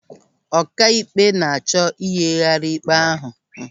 Ọkaikpe na-achọ iyighari ikpe ahụ.